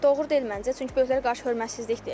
Doğru deyil məncə, çünki böyüklər qarşı hörmətsizlikdir.